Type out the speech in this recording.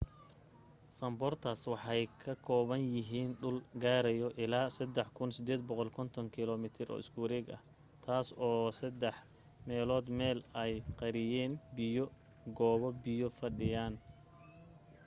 sundarbans waxay ka kooban yahiin dhul gaarayo ilaaa 3,850km² taas oo saddex meelood meel ay qariyeen biyo/goobo biyo fadhiyaan